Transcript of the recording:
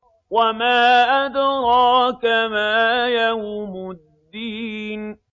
وَمَا أَدْرَاكَ مَا يَوْمُ الدِّينِ